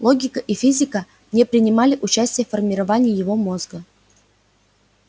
логика и физика не принимали участия в формировании его мозга